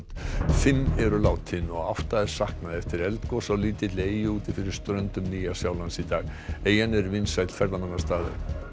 fimm eru látin og átta saknað eftir eldgos á lítilli eyju úti fyrir ströndum Nýja Sjálands í dag eyjan er vinsæll ferðamannastaður